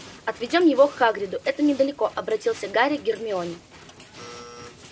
отведём его к хагриду это недалеко обратился гарри к гермионе